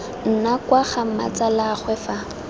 nna kwa ga mmatsalaagwe fa